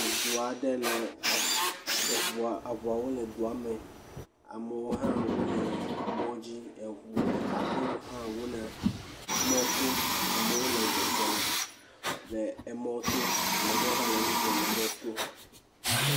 Eʋu aɖewo le duame amewo ha le mɔdzi aƒewo ha le mɔto amewo le zɔzɔm le mɔto ame aɖewo ha le nu ƒlem le mɔto